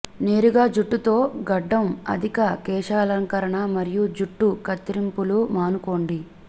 నేరుగా జుట్టు తో గడ్డం అధిక కేశాలంకరణ మరియు జుట్టు కత్తిరింపులు మానుకోండి